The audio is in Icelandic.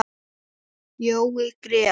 Jói grét.